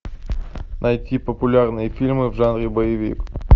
найти популярные фильмы в жанре боевик